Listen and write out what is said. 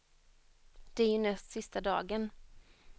Det är ju näst sista dagen.